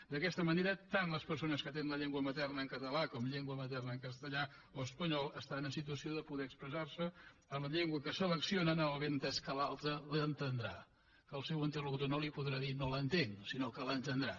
d’aquesta manera tant les persones que tenen la llengua materna en català com llengua materna en castellà o espanyol estan en situació de poder expressar se en la llengua que seleccionen amb el benentès que l’altre l’entendrà que el seu interlocutor no li podrà dir no l’entenc sinó que l’entendrà